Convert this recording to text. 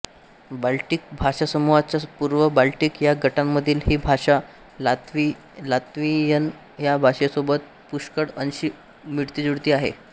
Baltic भाषासमूहाच्या पूर्व Baltic ह्या गटामधील ही भाषा लात्व्हियन ह्या भाषेसोबत पुष्कळ अंशी मिळतीजुळती आहे